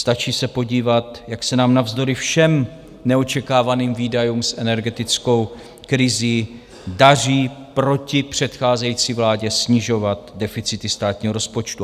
Stačí se podívat, jak se nám navzdory všem neočekávaným výdajům s energetickou krizí daří proti předcházející vládě snižovat deficity státního rozpočtu.